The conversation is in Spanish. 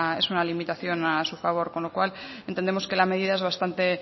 es una limitación a su favor con lo cual entendemos que la medida es bastante